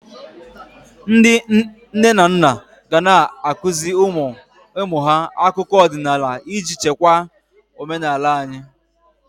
Ndị nne na nna ga ana-akụzị ụmụ ha akụkọ ọdịnala iji chekwa omenala anyị.